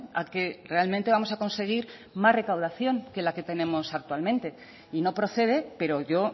a que realmente vamos a conseguir más recaudación que la que tenemos actualmente y no procede pero yo